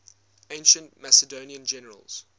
ancient macedonian generals